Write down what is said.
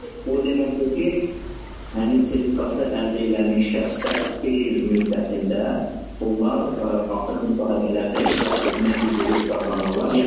O deməkdir ki, həmin sertifikatı əldə eləmiş şəxslər beş il müddətində onlar artıq müsahibələrdə iştirak etmək hüququ qazanırlar.